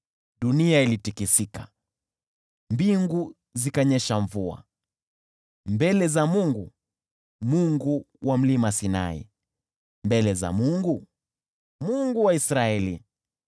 dunia ilitikisika, mbingu zikanyesha mvua, mbele za Mungu, Yule wa Sinai, mbele za Mungu, Mungu wa Israeli.